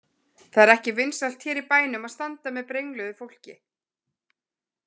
Það er ekki vinsælt hér í bænum að standa með brengluðu fólki.